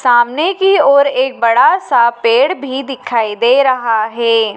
सामने की ओर एक बड़ा सा पेड़ भी दिखाई दे रहा है।